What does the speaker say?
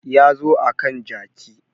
Ya zo akan jaki